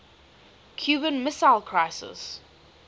cuban missile crisis